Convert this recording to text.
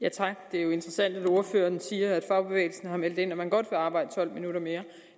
er jo interessant at ordføreren siger at fagbevægelsen har meldt ind at man godt vil arbejde tolv minutter mere